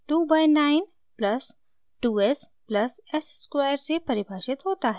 2 by 9 plus 2 s plus s square से परिभाषित होता है